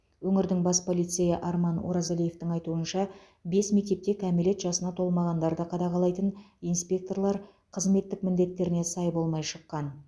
өңірдің бас полицейі арман оразалиевтің айтуынша бес мектепте кәмелет жасына толмағандарды қадағалайтын инспекторлар қызметтік міндетттеріне сай болмай шыққан